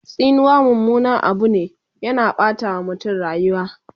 Tsinuwa mummunan Abu ne, yana Ɓata wa mutum rayuwa